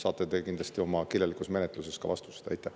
Te saate kirjaliku menetluse teel kindlasti ka vastused.